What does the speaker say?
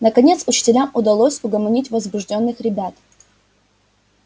наконец учителям удалось угомонить возбуждённых ребят